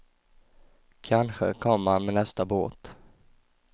Kanske kommer han med nästa båt.